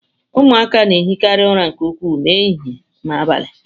Ụmụaka na ehikarị ụra nke ukwuu ma ehihie ma n'abalị.